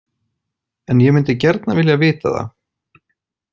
En ég myndi gjarnan vilja vita það.